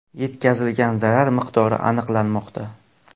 Yetkazilgan zarar miqdori aniqlanmoqda.